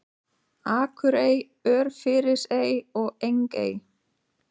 Akurey, Örfirisey og Engey.